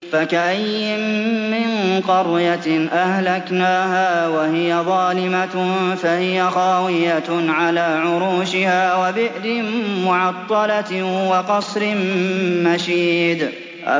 فَكَأَيِّن مِّن قَرْيَةٍ أَهْلَكْنَاهَا وَهِيَ ظَالِمَةٌ فَهِيَ خَاوِيَةٌ عَلَىٰ عُرُوشِهَا وَبِئْرٍ مُّعَطَّلَةٍ وَقَصْرٍ مَّشِيدٍ